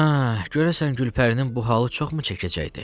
Hə, görəsən Gülpərinin bu halı çoxmu çəkəcəkdi?